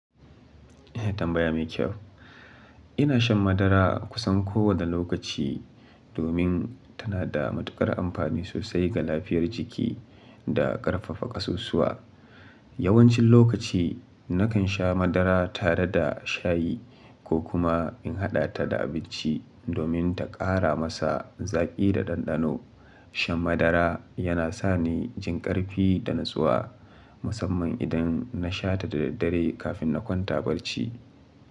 Eh, tambaya mai kyau. Ina shan madara kusan kowane lokaci domin tana da matuƙar amfani sosai ga lafiyar jiki da ƙarfafa ƙasusuwa. Yawancin lokaci nakan sha madara tare da shayi ko kuma in haɗa ta da abinci domin ta ƙara masa zaƙi da ɗanɗano. Shan madara yana sa ni jin ƙarfi da natsuwa, musamman idan na sha ta da daddare kafin na kwanta barci.